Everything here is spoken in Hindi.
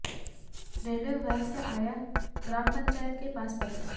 रेलवे विभाग से आया ग्राम पंचायत के पास पत्र